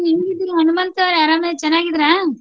ಹಾ ಹೆಂಗಿದ್ದೀರಾ ಹನುಮಂತು ಅವ್ರೆ ಆರಾಮ್ ಆಗಿ ಚೆನ್ನಾಗಿದ್ದೀರಾ?